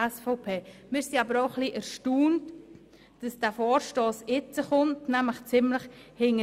Wir sind aber auch etwas erstaunt, dass dieser Vorstoss jetzt eingereicht wird.